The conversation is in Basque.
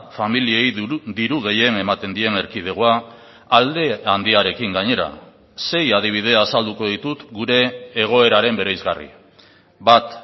familiei diru gehien ematen dien erkidegoa alde handiarekin gainera sei adibide azalduko ditut gure egoeraren bereizgarri bat